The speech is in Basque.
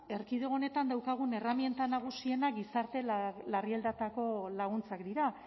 erkidego honetan daukagun erreminta nagusienak gizarte larrialdietarako laguntzak dira